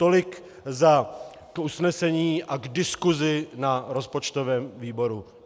Tolik k usnesení a k diskusi na rozpočtovém výboru.